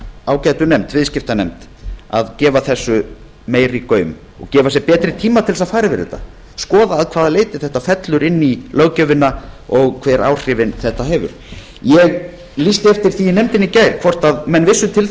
ágætu nefnd viðskiptanefnd að gefa þessu meiri gaum og gefa sér betri tíma til að fara yfir þetta skoða að hvaða leyti þetta fellur inn í löggjöfina og hver áhrif þetta hefur ég lýsti eftir því í nefndinni í gær hvort menn vissu til